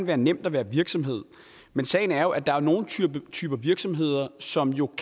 være nemt at være virksomhed men sagen er at der er nogle typer typer virksomhed som jo